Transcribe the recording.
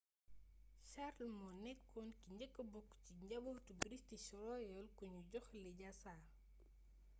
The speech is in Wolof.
charles moo nekkoon ki njëkka bokk ci njabootu british royal kuñu jox lijaasa